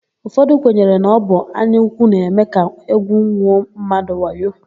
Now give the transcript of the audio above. Ụfọdụ kwenyere na ọ bụ anyaúkwú na-eme ka égwùnwuo mmadụ wayo.